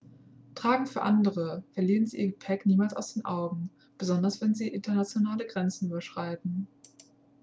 tragen für andere verlieren sie ihr gepäck niemals aus den augen besonders wenn sie internationale grenzen überschreiten